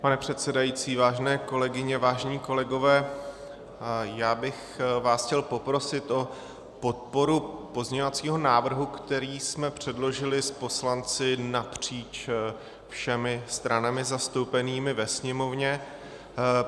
Pane předsedající, vážené kolegyně, vážení kolegové, já bych vás chtěl poprosit o podporu pozměňovacího návrhu, který jsme předložili s poslanci napříč všemi stranami zastoupenými ve Sněmovně.